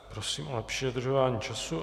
Prosím o lepší dodržování času.